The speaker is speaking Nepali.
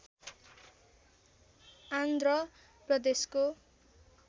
आन्ध्र प्रदेशको